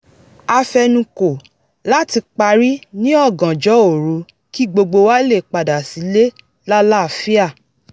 a fe̩nukò láti parí ní ọ̀gànjọ́ òru kí gbogbo wa lè padà sílé lálàáfíà